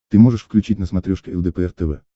ты можешь включить на смотрешке лдпр тв